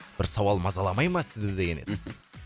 бір сауал мазаламай ма сізді деген еді мхм